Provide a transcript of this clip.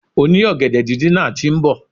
Oni ògèdè díndín náà ti nbò